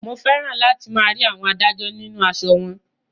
Mo fẹ́ràn láti máa rí àwọn adájọ́ nínú aṣọ wọn